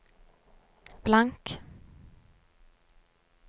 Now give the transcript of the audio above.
blank